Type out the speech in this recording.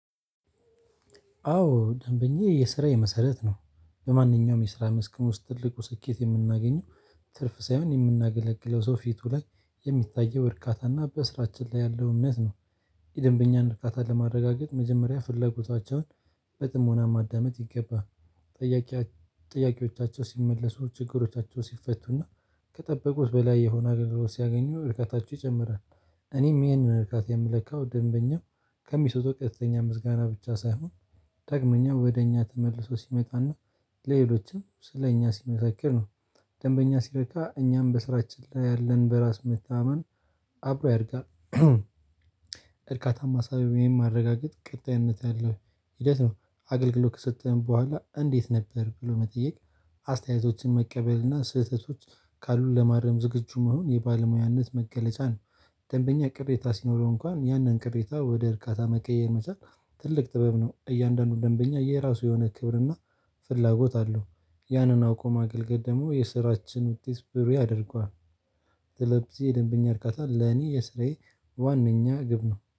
አዎ ደንበኛ የስራዬ መሰረት ነው በማንኛውም የስራ መስክ ውስጥ ትልቁ ስኬት የምናገኘው ትርፍ ሳይሆን የምናገለግለው ሰው ፊቱ ላይ የሚታየው እርካታና በስራችን ላይ ያለው እምነት ነው። የደንበኛን እርካታ ለማረጋገጥ መጀመሪያ ፍለጎታቸውን በጥሞና ማዳመጥ ይገባ ጠያቂ ጥያቄዎቻቸው ሲመለሱ ችግሮቻቸው ሲፈቱና ከጠበቁት በላይ የሆነ አገልግሎት ሲያገኙ ርካታቸው ይጨምራል። እኔም ይሄንን ርካት የምለካው ደንበኛው ከሚሰጠው ቀጥታኛ ምስጋና ብቻ ሳይሆን ደግሞኛ ወደ እኛ ተመልሶ ሲመጣና ለሌሎችም ስለ እኛ ሲመሳከር ነው። ደንበኛ ሲረካ እኛም በስራችን ላይ ያለን በራስ መታማማን አብሮ ያድጋል። እርካታን አሳቢ ወይም ማረጋገጥ ቅጣይነት ያለው ሂደት ነው። አገልግሎት ከሰጠን በኋላ እንዴት ነበር ብሎ መጠየቅ አስተያየቶችን መቀበልና ስህተቶች ካሉት ለማረም ዝግጁ መሆን የባለሙያነት መገለጫ ነው። ደንበኛ ቅሬታ ሲኖረው እንኳን ያንን ቅሬታ ወደ እርካታ መቀየር መቻል ትልቅ ጥበብ ነው። እያንዳንዱን ደንበኛ የራሱ የሆነ ክብርና ፍላጎት አለው። ያንን አውቆ ማገልገል ደግሞ የስራችን ውጤት ብሩ ያደርገዋል። ስለዚህ የደንበኛ አርካታ ለኔ የስራዬ ዋናኛ ግብ ነው